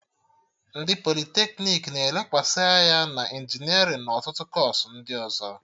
Ndị politeknik na-elekwasị anya na injinerịn na ọtụtụ kọọsụ ndị ọzọ